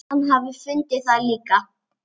Hann hafi fundið það líka.